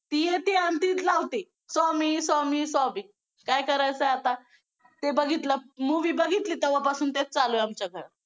ती येते आणि तीच लावते स्वामी स्वामी काय करायचं आहे आता ते बघितलं movie बघितली तेव्हापासून तेच चालू आहे आमच्यात